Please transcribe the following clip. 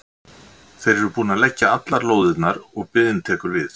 Þeir eru búnir að leggja allar lóðirnar og biðin tekur við.